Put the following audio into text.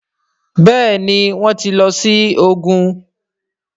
Béèni wón tí ló sì ògún.